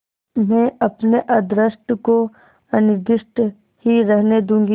मैं अपने अदृष्ट को अनिर्दिष्ट ही रहने दूँगी